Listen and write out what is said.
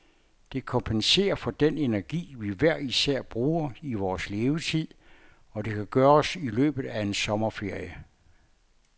Det kompenserer for den energi, vi hver især bruger i vores levetid, og det kan gøres i løbet af en sommerferie.